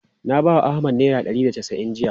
Na bawa Ahmad naira ɗari da casa'in jiya.